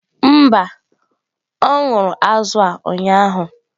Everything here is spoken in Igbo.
Mba, ọ ṅụrụ azụ̀ a ụnyahụ.